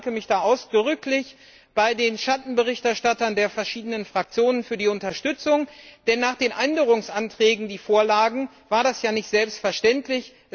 Ich bedanke mich ausdrücklich bei den Schattenberichterstattern der verschiedenen Fraktionen für die Unterstützung, denn nach den Änderungsanträgen, die vorlagen, war das ja nicht selbstverständlich.